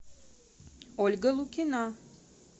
ольга лукина